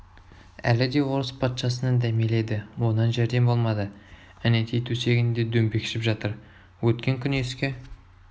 әлі де орыс патшасынан дәмелі еді онан жәрдем болмады әнетей төсегінде дөңбекшіп жатыр өткен күн еске